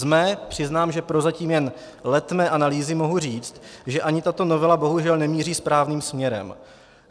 Ze své, přiznám, že prozatím jen letmé analýzy mohu říct, že ani tato novela bohužel nemíří správným směrem.